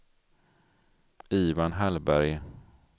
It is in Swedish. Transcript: Ivan Hallberg